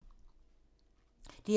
DR1